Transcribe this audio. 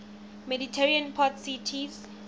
mediterranean port cities